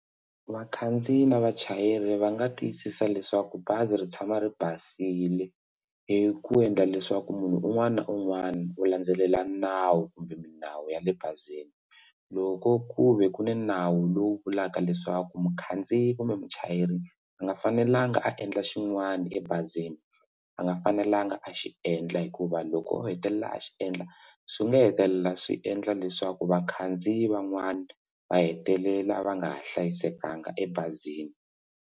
Vakhandziyi na vachayeri va nga tiyisisa leswaku bazi ri tshama ri basile hi ku endla leswaku munhu un'wana na un'wana u landzelela nawu kumbe milawu ya le bazini loko ku ve ku ni nawu lowu vulaka leswaku mukhandziyi kumbe muchayeri a nga fanelangi a endla xin'wana ebazini a nga fanelangi a xi endla hikuva loko u hetelela a xi endla swi nga hetelela swi endla leswaku vakhandziyi van'wana va hetelela va nga ha hlayisekanga ebazini.